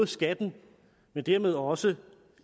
skatten men dermed også